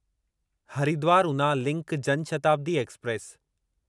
Haridwar Una link Janshatabdi express